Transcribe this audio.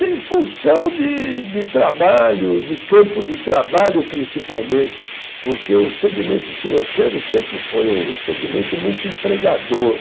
Em função de de trabalho, de campo de trabalho principalmente, porque o segmento financeiro sempre foi um segmento muito empregador.